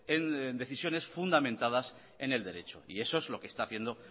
en decisiones fundamentadas en el derecho y eso es lo que está haciendo